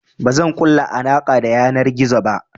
Bazan ƙulla alaƙa ta yanar gizo ba.